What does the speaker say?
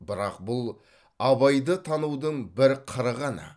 бірақ бұл абайды танудың бір қыры ғана